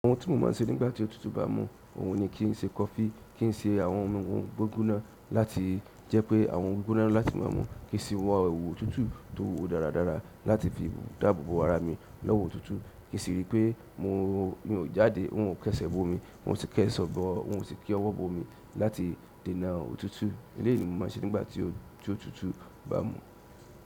Àwọn tí mo máa ń ṣe nígbà tí òtútù bá mú, òun ni kí n ṣe kọfí, kí n ṣe àwọn ohun gbígbóná láti jẹ́ pé àwọn gbígbóná láti máa mú, kí n sì wọ ewú òtútù tó dáradára láti fi dáàbò bo ara mi lowo òtútù. Kin si ri pe mi o jáde, mi o ti ese bo omi n o si ti owo bo omi láti deena òtútù. Eléyìí ni mo máa ń ṣe nígbà tí òtútù bá mú.